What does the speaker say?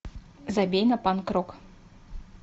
забей на панк рок